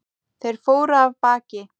Þeir fóru af baki.